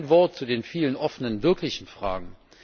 Kein Wort zu den vielen offenen wirklichen Fragen.